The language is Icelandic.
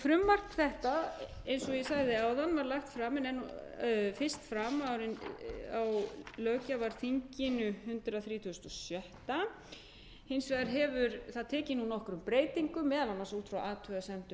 frumvarp þetta eins og ég sagði áðan var lagt fyrst fram á hundrað þrítugasta og sjötta löggjafarþingi hins vegar hefur það nú tekið nokkrum breytingum meðal annars út frá athugasemdum